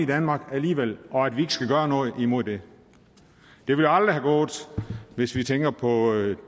danmark alligevel og at vi skal gøre noget imod det det ville aldrig have gået hvis vi tænker på